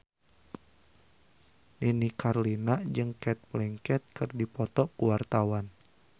Nini Carlina jeung Cate Blanchett keur dipoto ku wartawan